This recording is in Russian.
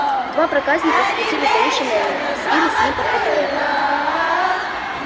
два проказника схватили за уши невилла и взвились с ним под потолок